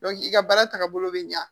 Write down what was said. i ka baara tagabolo bɛ ɲa